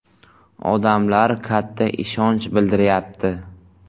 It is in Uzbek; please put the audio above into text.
Odamlar katta ishonch bildiryapti.